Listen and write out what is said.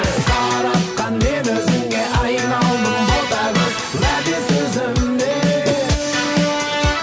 қаратқан мені өзіңе айналдым ботагөз уәде сөзіме